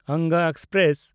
Anga express